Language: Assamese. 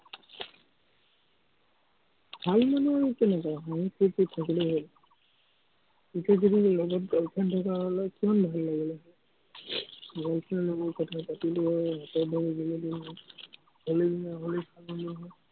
ভাল মানে আৰু কেনেকে, হাঁহি-ফুৰ্তিত থাকিলেই হ'ল। এতিয়া যদি লগত girl friend থকা হ'লে, কিমান ভাল লাগিলে। girl friend এ ময়ে কথা পাতিলো হয়। হলিৰ দিনা হলি খেলিলো হয়।